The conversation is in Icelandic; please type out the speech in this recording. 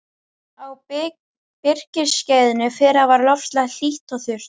Á birkiskeiðinu fyrra var loftslag hlýtt og þurrt.